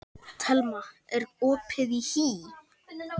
Thelma, er opið í HÍ?